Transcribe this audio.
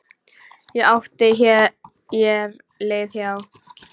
Ég átti hér leið hjá.